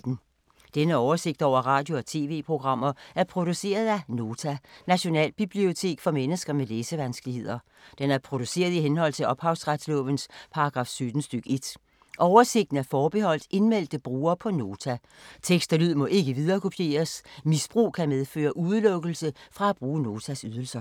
Denne oversigt over radio og TV-programmer er produceret af Nota, Nationalbibliotek for mennesker med læsevanskeligheder. Den er produceret i henhold til ophavsretslovens paragraf 17 stk. 1. Oversigten er forbeholdt indmeldte brugere på Nota. Tekst og lyd må ikke viderekopieres. Misbrug kan medføre udelukkelse fra at bruge Notas ydelser.